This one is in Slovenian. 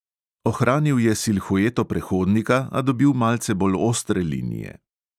Ohranil je silhueto prehodnika, a dobil malce bolj ostre linije.